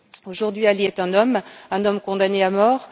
Aujourd'hui, Ali est un homme, un homme condamné à mort.